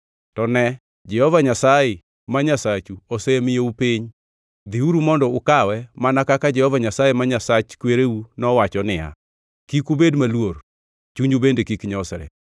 To ne, Jehova Nyasaye, ma Nyasachu osemiyou piny. Dhiuru mondo ukawe mana kaka Jehova Nyasaye, ma Nyasach kwereu nowacho niya. Kik ubed maluor, chunyu bende kik nyosre.”